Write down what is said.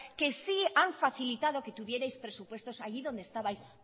que sí han facilitado que tuvierais presupuestos allí donde estabais